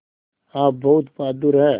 आप बहुत बहादुर हैं